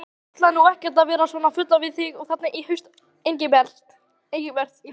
Heyrðu. ég ætlaði nú ekkert að vera svona fúll við þig þarna í haust, Engilbert.